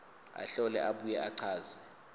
ahlole abuye achaze